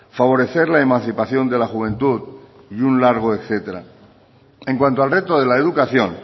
favorecer la emancipación de la juventud y un largo etcétera en cuanto al reto de la educación